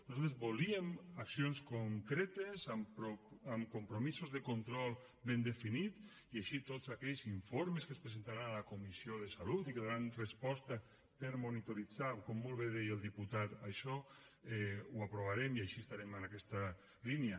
nosaltres volíem accions concretes amb compromisos de control ben definits i així tots aquells informes que es presentaran a la comissió de salut i que daran resposta per monitoritzar com molt bé deia el diputat això ho aprovarem i així estarem en aquesta línia